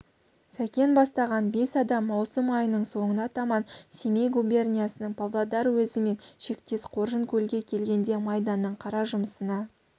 сәкен бастаған бес адам маусым айының соңына таман семей губерниясының павлодар уезімен шектес қоржынкөлге келгенде майданның қара жұмысына